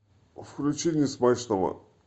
включи несмачного